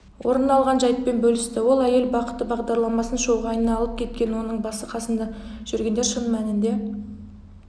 орын алған жайтпен бөлісті оләйел бақыты бағдарламасын шоуға айналып кеткен оның басы-қасында жүргендер шын мәнінде